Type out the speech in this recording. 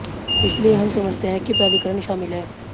इसलिए हम समझते हैं कि प्राधिकरण शामिल है